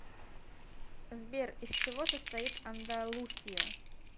сбер из чего состоит андалусия